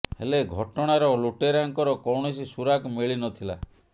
ହେଲେ ଘଟଣାର ଲୁଟେରାଙ୍କର କୌଣସି ସୁରାକ ମିଳି ନ ଥିଲା